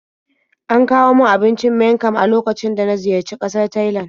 An kawo min abincin miang kham a lokacin da na ziyarci ƙasar Thailand.